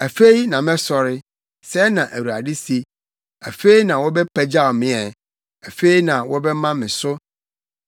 “Afei na mɛsɔre,” sɛɛ na Awurade se. “Afei na wɔbɛpagyaw me ɛ; afei na wɔbɛma me so.